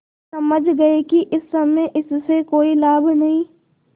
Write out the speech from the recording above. समझ गये कि इस समय इससे कोई लाभ नहीं